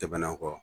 Tɛmɛnen kɔ